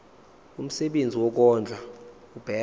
umsebenzi wokondla ubekwa